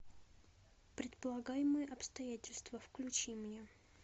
предполагаемые обстоятельства включи мне